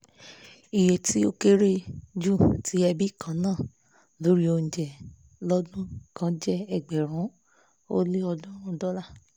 iye tí ó kéré jù tí ẹbí kan ná lórí oúnjẹ lódún kan jẹ́ ẹgbẹ̀rún ó lé òdúnrún dọ́là